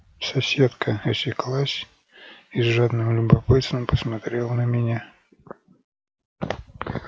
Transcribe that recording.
соседка осеклась и с жадным любопытством посмотрела на меня